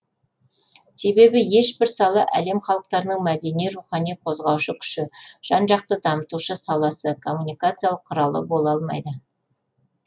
себебі ешбір сала әлем халықтарының мәдени рухани қозғаушы күші жан жақты дамытушы саласы коммуникациялық құралы бола алмайды